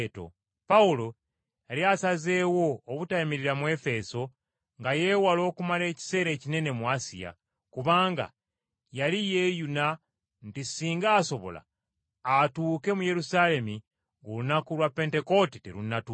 Pawulo yali asazeewo obutayimirira mu Efeso nga yeewala okumala ekiseera ekinene mu Asiya, kubanga yali yeeyuna nti ssinga asobola, atuuke mu Yerusaalemi ng’olunaku lwa Pentekoote terunnatuuka.